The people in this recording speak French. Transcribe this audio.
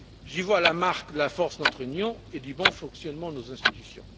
J'y vois la marque de la force de notre Union et du bon fonctionnement de nos institutions.